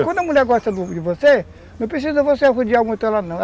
Quando a mulher gosta de você, não precisa você arrodear muito ela não.